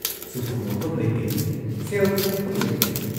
ꯁꯨꯐꯝ ꯅꯣꯐꯝ ꯂꯩꯇꯦ, ꯁꯦꯜ ꯊꯣꯛꯐꯝ ꯂꯩꯇꯦ ꯫